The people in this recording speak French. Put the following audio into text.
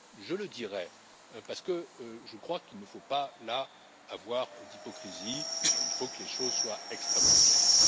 je le dirai, parce que je crois qu'il ne faut pas avoir d'hypocrisie, il faut que les choses soient extrêmement claires.